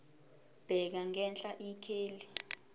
bheka ngenhla ikheli